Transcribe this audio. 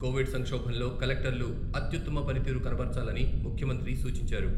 Covid సంక్షోభంలో కలెక్టర్లు అత్యుత్తమ పనితీరు కనబర్చాలని ముఖ్యమంత్రి సూచించారు.